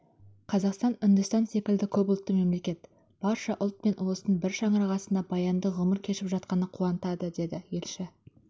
қазақстан үндістан секілді көпұлтты мемлекет барша ұлт пен ұлыстың бір шаңырақ астында баянды ғұмыр кешіп жатқаны қуантады деді елші